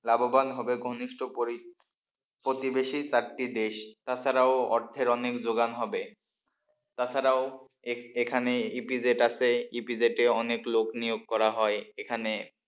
লাভবান হবে ঘনিষ্ঠ প্রতিবেশী চারটি দেশ তাছাড়াও অর্থের অনেক যোগান হবে তাছাড়াও এখানে ইপিজেড আছে ইপিজেডে অনেক লোক নিয়োগ করা হয় এখানে,